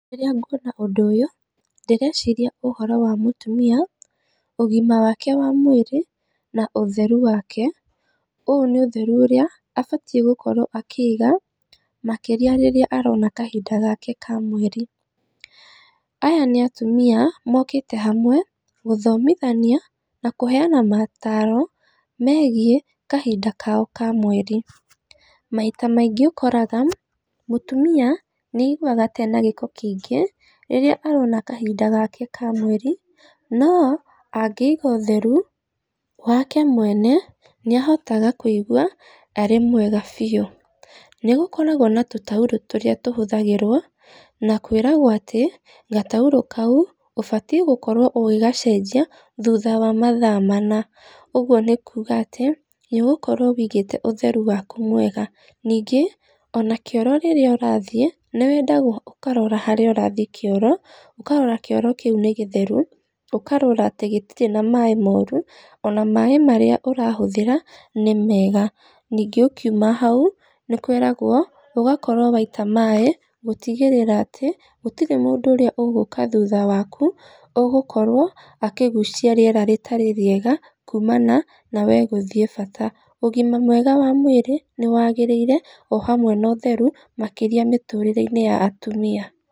Rĩrĩa ngŭona ŭndŭ ŭyŭ ndĩreciria ŭhoro wa mŭtŭmia ŭgima wake wa mwĩrĩ na ŭtherŭ wake. Ŭyŭ nĩ ŭtherŭ ŭrĩa abating gŭkorwo akĩiga makĩria rĩrĩa arona kahida gake ka mweri . Aya nĩ atŭmia mokĩte hamwe gŭthomithania na kŭheana mataro megiĩ kahida kao ka mweri . Maita maingĩ ŭkoraga mŭtŭmia nĩaigŭaga ta ena gĩko kĩingĩ rĩrĩa arona kahida gake ka mweri no angĩiga ŭtherŭ wake mwene nĩahotaga kŭigŭa arĩ mwega biŭ. Nĩgŭkoragwo na tŭtaŭrŭ tŭrĩa tŭhŭthagĩrwo na kwĩragwo atĩ gataŭrŭ kaŭ ŭbatiĩ gŭkorwo ŭgĩgacejia thŭtha wa mathaa mana ŭgŭo nĩ kŭga atĩ nĩŭgŭkorwo wĩigĩte ŭtherŭ wakŭ wega ningĩ ona kĩoro rĩrĩa urathiĩ nĩwedagwo ŭkarora harĩa ŭrathiĩ kĩoro, ŭkarora kĩoro kĩŭ nĩ gĩtherŭ ŭkarora atĩ gĩtirĩ na maĩ morŭ ona maĩ marĩa ŭrahŭthĩra nĩmega ningĩ ŭkiŭma haŭ nĩkwĩragwo ŭgakorwo waita maĩ gŭtigĩrĩra atĩ gŭtirĩ mŭndŭ ŭrĩa ŭgŭka thŭtha wakŭ ŭgŭkorwo akĩgŭcia rĩera rĩtarĩ rĩega kŭŭmana na wee gŭthiĩ bata. Ŭgima mwega wa mwĩrĩ nĩwagĩrĩire o hamwe na ŭtherŭ, makĩria mĩtŭrĩreinĩ ya atŭmia.